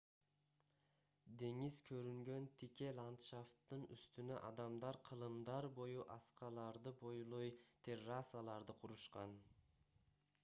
деңиз көрүнгөн тике ландшафттын үстүнө адамдар кылымдар бою аскаларды бойлой террасаларды курушкан